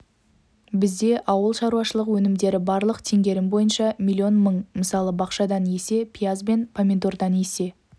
бізде ауыл шаруашылық өнімдері барлық теңгерім бойынша миллион мың мысалы бақшадан есе пияз бен помидордан есе